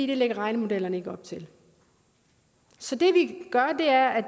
det lægger regnemodellerne ikke op til så det vi gør er at